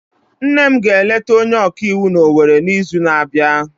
Nne m ga-eleta onye ọka iwu n'Owere n'izu na-abịa.